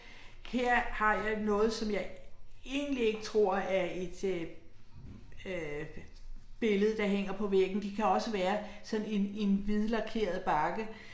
Her har jeg noget som jeg egentlig ikke tror er et øh øh billede der hænger på væggen, det kan også være sådan en en hvidlakeret bakke